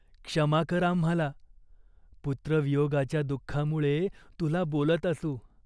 क्षमा कर आम्हाला. पुत्रवियोगाच्या दुःखामुळे तुला बोलत असू.